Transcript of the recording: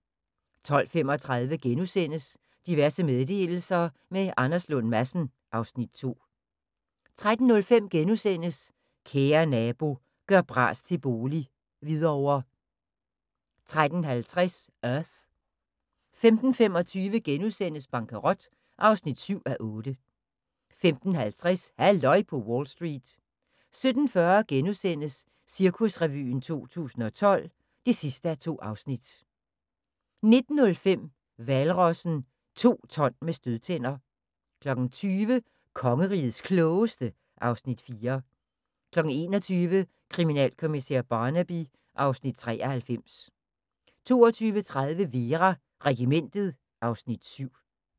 12:35: Diverse meddelelser – med Anders Lund Madsen (Afs. 2)* 13:05: Kære Nabo – gør bras til bolig - Hvidovre * 13:50: Earth 15:25: Bankerot (7:8)* 15:50: Halløj på Wall Street 17:40: Cirkusrevyen 2012 (2:2)* 19:05: Hvalrossen – to ton med stødtænder 20:00: Kongerigets Klogeste (Afs. 4) 21:00: Kriminalkommissær Barnaby (Afs. 93) 22:30: Vera: Regimentet (Afs. 7)